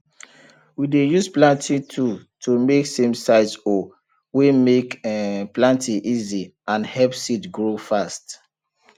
we dey use planting tool to make samesize hole wey make um planting easy and help seed grow fast